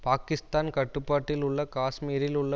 பாக்கிஸ்தான் கட்டுப்பாட்டில் உள்ள காஷ்மீரில் உள்ள